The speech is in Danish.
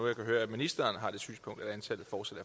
jeg kan høre at ministeren har det synspunkt at antallet fortsat